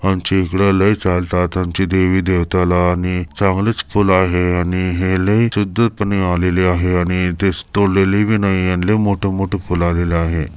आमच्या इकडे लय चालतात आमच्या देवी देवताला आणि चांगलेच फुल आहे आणि हे लई शुद्धीतपणे आलेली आहे आणि तेच तोडलेली बी नाही आणि लय मोठे मोठे फुल आलेले आहे.